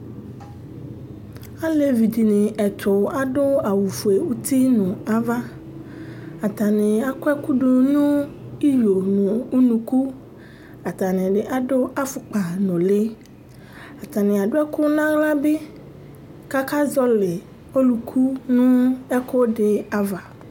Alevi dini ɛtu adu awu fue uti nu ava, ata ni akɔ ɛku du nu iyo nu unuku, atani ni adu afukpa nuli, atani adu ɛku n'aɣla bi, k'aka zɔli oluku nu ɛku di ava